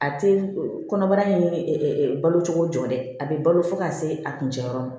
A tɛ kɔnɔbara in ye balo cogo jɔ dɛ a bɛ balo fo ka se a kuncɛ yɔrɔ ma